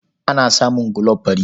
Ana samun gulob fari.